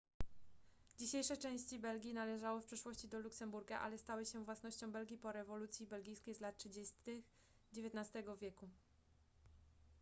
dzisiejsze części belgii należały w przeszłości do luksemburga ale stały się własnością belgii po rewolucji belgijskiej z lat 30 xix wieku